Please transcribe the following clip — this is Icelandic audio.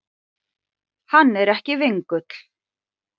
Hann er ekki vingull.